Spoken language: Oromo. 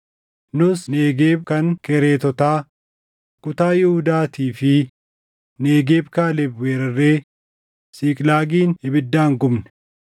Nus Negeeb kan Kereetotaa, kutaa Yihuudaatii fi Negeeb Kaaleb weerarree Siiqlaagin ibiddaan gubne.”